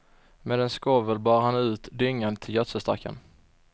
Med en skovel bar han ut dyngan till gödselstacken.